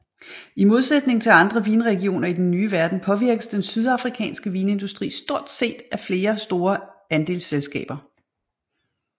I modsætning til andre vinregioner i den nye verden påvirkes den sydafrikanske vinindustri stort set af flere store andelsselskaber